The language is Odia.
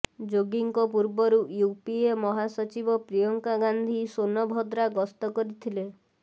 ଯୋଗୀଙ୍କ ପୂର୍ବରୁ ୟୁପିଏ ମହାସଚିବ ପ୍ରିୟଙ୍କା ଗାନ୍ଧି ସୋନଭଦ୍ରା ଗ୍ରସ୍ତ କରିଥିଲେ